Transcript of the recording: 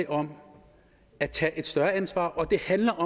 om at tage et større ansvar og det handler